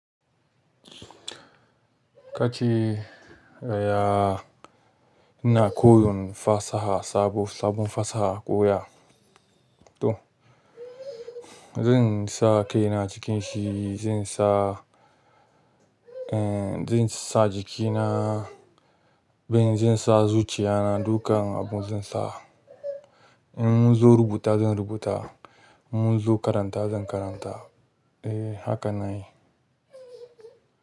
Kace, ya, ina koyon fasaha sabo, sabon fasaha, ƙoya. To, zan sa kai na cikin shi, zan sa, eh, zan sa jiki na, ban zan sa zuciya na dukan abun zan sa. In mun zo rubuta zan rubuta, mun zo karanta zan karanta, eh haka na yi.